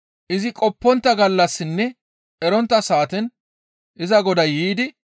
izi qoppontta gallassaninne erontta saaten iza goday yiidi,